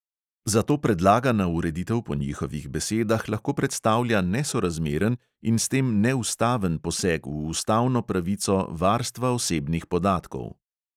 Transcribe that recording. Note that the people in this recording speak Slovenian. Zato predlagana ureditev po njihovih besedah lahko predstavlja nesorazmeren in s tem neustaven poseg v ustavno pravico varstva osebnih podatkov.